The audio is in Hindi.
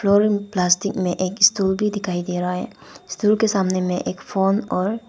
और प्लास्टिक में एक स्टूल भी दिखाई दे रहा है स्टूल के सामने में एक फोन और--